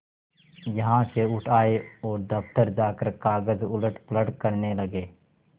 यहाँ से उठ आये और दफ्तर जाकर कागज उलटपलट करने लगे